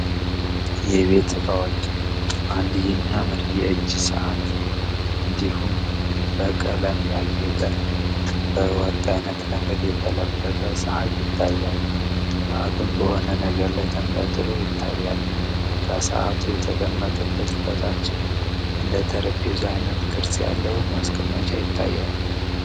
የቤት እቃዎች፤ አንድ የሚያምር የእጅ ሰአት እንዲሁም በቀለም ያጌጠ፣ በወርቅ አይነት ነገር የተለበጠ ሰአት ያታያል። ሰአቱም በሆነ ነገር ላይ ተንጠልጥሎ ይታያል። ከሰአቱ የተቀመጠበት በታችም እንደጠረጴዛ አይነት ቅርጽ ያለው ማስቀመጫ ይታያል።